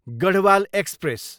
Garhwal express